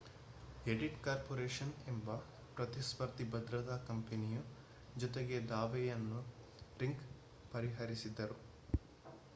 ಎಡಿಟಿ corporation ಎಂಬ ಪ್ರತಿಸ್ಫರ್ಧಿ ಭದ್ರತಾ ಕಂಪನಿಯು ಜೊತೆಗೆ ದಾವೆಯನ್ನೂ ರಿಂಗ್ ಪರಿಹರಿಸಿದರು